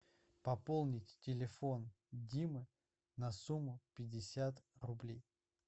пополнить телефон димы на сумму пятьдесят рублей